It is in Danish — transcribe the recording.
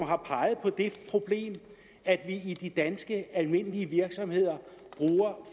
har peget på det problem at vi i de danske almindelige virksomheder bruger